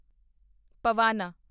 ਪਵਾਨਾ